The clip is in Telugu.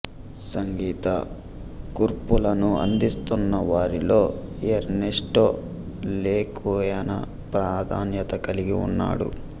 సంగీత కూర్పులను అందిస్తున్న వారిలో ఎర్నెస్టో లెకుయానా ప్రాధాన్యత కలిగి ఉన్నాడు